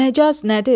Məcaz nədir?